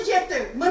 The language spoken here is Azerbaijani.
Getdi, getdi.